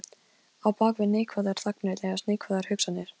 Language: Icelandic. Á bak við neikvæðar þagnir leynast neikvæðar hugsanir.